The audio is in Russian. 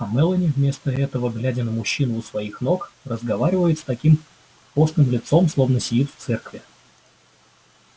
а мелани вместо этого глядя на мужчину у своих ног разговаривает с таким постным лицом словно сидит в церкви